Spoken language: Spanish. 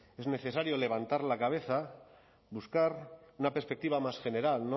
es necesario levantar la cabeza buscar una perspectiva más general